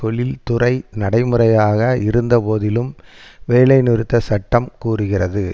தொழிற்துறை நடைமுறையாக இருந்தபோதிலும் வேலை நிறுத்த சட்டம் கூறுகிறது